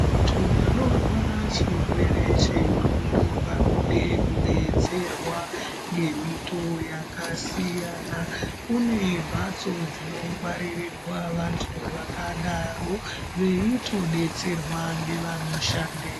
Vantu vanorwara chirere chenxondo vanode kubetserwa ngemitoo yakasiyana. Kune mhatso dzinongwaririrwa vantu vakadaro veitobetserwa ngevanoshandemwo.